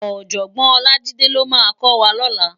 Òjògbòn Olajide ló má kò wá lòlá